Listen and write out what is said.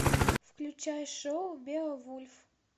включай шоу беовульф